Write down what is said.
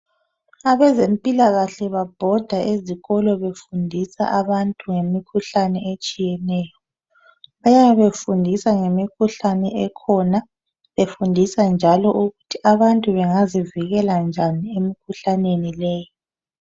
Abezempilakahle babhoda ezikolo befundisa abantu ngemikhuhlane etshiyeneyo eyabe efundisa ngemikhuhlane ekhona befundisa njalo ukuthi abantu bengazivikela njani emikhuhlaneni leyi.